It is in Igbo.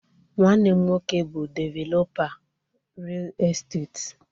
Nwanne m nwoke bụ developa ril esteti.